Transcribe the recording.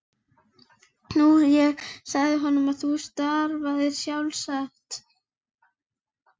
Nú ég sagði honum að þú starfaðir sjálfstætt.